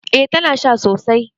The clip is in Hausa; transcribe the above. Eh tana sha sosai